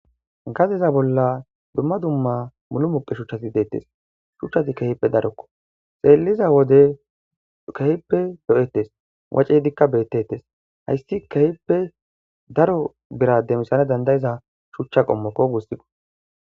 Katha bolla dumma dumma mulumuqe shuchati deettes shuchchati kehipe darokko xeelliza wode kehippe do7ettes wace dikka beettettes haysti kehippe daro birade misana dandayiza shuchcha qommokko gussikqo